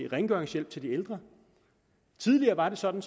rengøringshjælp til de ældre tidligere var det sådan